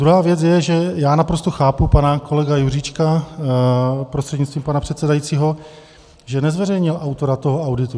Druhá věc je, že - já naprosto chápu pana kolegu Juřička prostřednictvím pana předsedajícího, že nezveřejnil autora toho auditu.